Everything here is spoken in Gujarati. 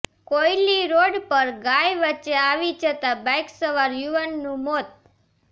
કોયલી રોડ પર ગાય વચ્ચે આવી જતાં બાઇક સવાર યુવાનનું મોત